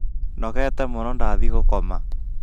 nogete mũno ndathiĩ gũkoma